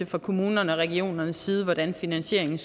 fra kommunerne og regionernes side anviser hvordan finansieringen